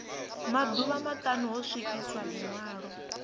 maḓuvha maṱanu ho swikiswa ḽiṅwalo